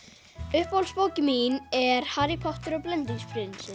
uppáhaldsbókin mín er Harry Potter og blendingsprinsinn